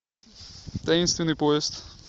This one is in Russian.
таинственный поезд